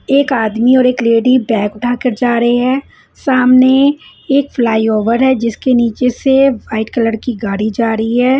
एक आदमी और एक लेडी बेग उठाकर जा रहे है सामने एक फ्लाय ओवेर है जिसके निचे से वाइट कलर की गाड़ी जा रही है।